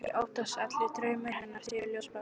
Ég óttast að allir draumar hennar séu ljósbláir.